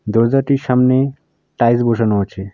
দরজাটির সামনে টাইলস বসানো আছে।